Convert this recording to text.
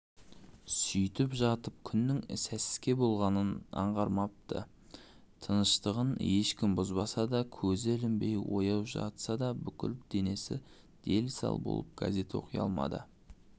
сөйтіп жатып күннің сәске болғанын аңғармапты тыныштығын ешкім бұзбаса да көзі ілінбей ояу жатса да бүкіл денесі дел-сал болып газет оқи алмады